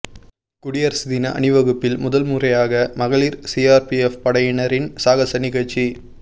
குடியரசு தின அணிவகுப்பில் முதல் முறையாக மகளிர் சிஆர்பிஎஃப் படையினரின் சாகச நிகழ்ச்சி